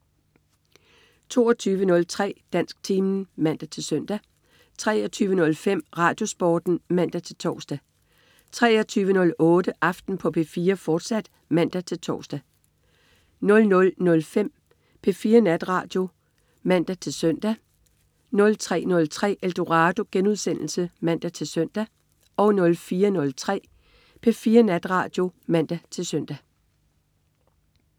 22.03 Dansktimen (man-søn) 23.05 RadioSporten (man-tors) 23.08 Aften på P4, fortsat (man-tors) 00.05 P4 Natradio (man-søn) 03.03 Eldorado* (man-søn) 04.03 P4 Natradio (man-søn)